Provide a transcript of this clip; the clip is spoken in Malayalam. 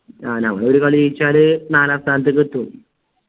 ആഹ് നമ്മൾ ഒരു കളി ജയിച്ചാല് നാലാം സ്ഥാനത്തേക്ക്ത്തും